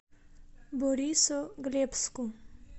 борисоглебску